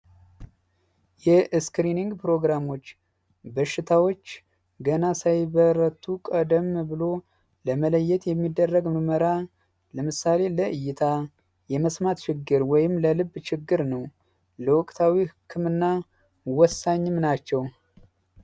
እስክሪንግ ፕሮግራሞች በሽታዎች ገና ሳይበረቱ ቀደም ብሎ ለመለየት የሚደረግ መመራን ለምሳሌ እይታ የመስማት ችግር ወይም ለልብ ችግር ነውና ወሳኝ ናቸው።